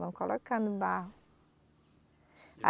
Vão colocando barro. A